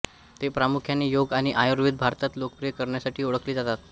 ते प्रामुख्याने योग आणि आयुर्वेद भारतात लोकप्रिय करण्यासाठी ओळखले जातात